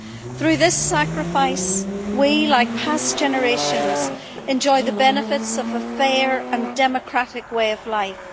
Through their sacrifice we, like past generations, enjoy the benefits of a fair and democratic way of life.